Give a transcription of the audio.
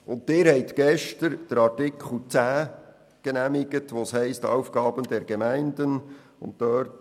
Sie haben gestern Artikel 10 genehmigt, wobei es um die Aufgaben der Gemeinden geht.